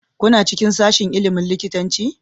Kuna cikin sashin ilimin likitanci?